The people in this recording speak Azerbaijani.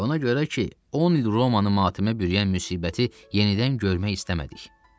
Ona görə ki, 10 il Romanı matemə bürüyən müsibəti yenidən görmək istəmədik.